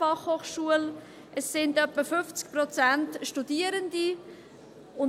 Es sind ungefähr 50 Prozent der Studierenden.